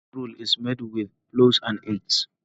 Egg roll is made with flour and egg.